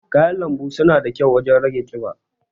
kayan lanbu suna da kyau wajen rage ƙiba.